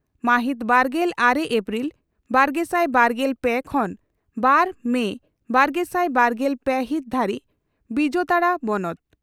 ᱢᱟᱦᱤᱛ ᱵᱟᱨᱜᱮᱞ ᱟᱨᱮ ᱮᱯᱨᱤᱞ ᱵᱟᱨᱜᱮᱥᱟᱭ ᱵᱟᱨᱜᱮᱞ ᱯᱮ ᱠᱷᱚᱱᱵᱟᱨ ᱢᱮ ᱵᱟᱨᱜᱮᱥᱟᱭ ᱵᱟᱨᱜᱮᱞ ᱯᱮ ᱦᱤᱛ ᱫᱷᱟᱹᱨᱤᱡ ᱵᱤᱡᱟᱛᱟᱲᱟ ᱵᱚᱱᱚᱛ